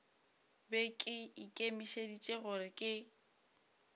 be ke ikemišeditše gore ke